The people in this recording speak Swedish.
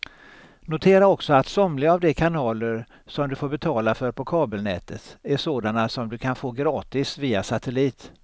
Notera också att somliga av de kanaler som du får betala för på kabelnätet är sådana som du kan få gratis via satellit.